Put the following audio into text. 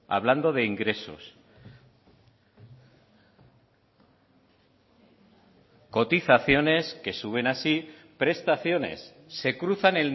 hablando de ingresos cotizaciones que suben así prestaciones se cruzan